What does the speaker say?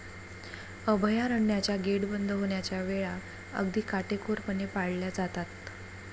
अभयारण्याचा गेट बंद होण्याच्या वेळा अगदी काटेकोरपणे पाळल्या जातात